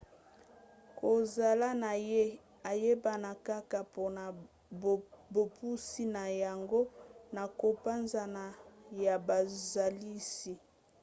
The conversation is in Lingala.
kozala na ye eyebana kaka mpona bopusi na yango na kopanzana ya bozalisi